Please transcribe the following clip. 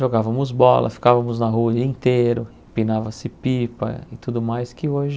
Jogávamos bola, ficávamos na rua o dia inteiro, empinava-se pipa e tudo mais que hoje